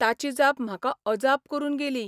ताची जाप म्हाका अजाप करून गेली.